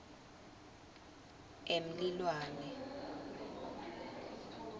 emlilwane